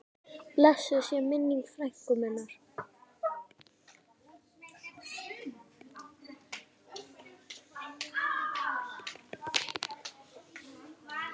Blessuð sé minning frænku minnar.